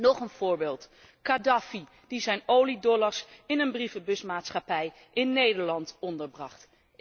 Nog een voorbeeld Kadhafi die zijn oliedollars in een brievenbusmaatschappij in Nederland onderbracht.